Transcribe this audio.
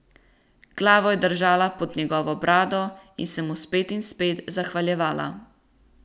Glavo je držala pod njegovo brado in se mu spet in spet zahvaljevala.